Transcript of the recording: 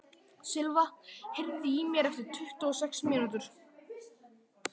Silva, heyrðu í mér eftir tuttugu og sex mínútur.